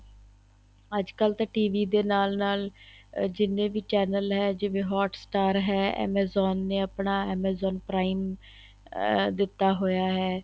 ਅੱਜਕਲ ਤਾਂ TV ਦੇ ਨਾਲ ਨਾਲ ਜਿਹਨੇ ਵੀ channel ਹੈ ਜਿਵੇਂ hot-star ਹੈ amazon ਨੇ ਆਪਣਾ amazon prime ਅਹ ਦਿੱਤਾ ਹੋਇਆ ਹੈ